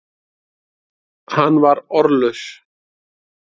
Hann var orðlaus.